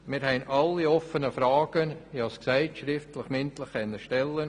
Wir konnten alle offenen Fragen sowohl schriftlich wie auch mündlich stellen.